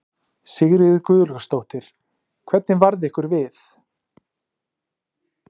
Sigríður Guðlaugsdóttir: Hvernig varð ykkur við?